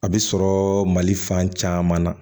A bɛ sɔrɔ mali fan caman na